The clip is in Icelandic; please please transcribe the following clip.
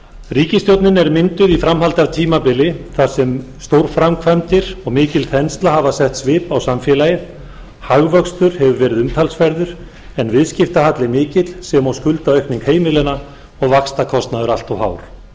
ríkisstjórnin er mynduð í framhaldi af tímabili þar sem stórframkvæmdir og mikil þensla hafa sett svip á samfélagið hagvöxtur hefur verið umtalsverður en viðskiptahalli mikill sem og skuldaaukning heimilanna og vaxtakostnaður allt of hár